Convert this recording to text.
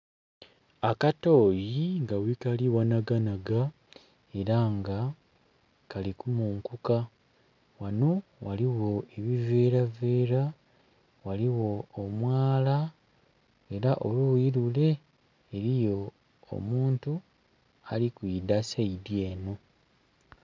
Akatooyi nga ghekali ghanaganaga era nga kali kumunkuka ghano ghaligho ebiveravera, ghaligho omwala era oluuyi lule eriyo omuntu ali kuidha saidi eno.